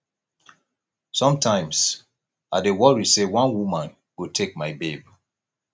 sometimes i dey worry say one woman go take my babe